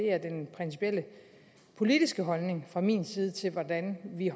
er den principielle politiske holdning fra min side til hvordan vi i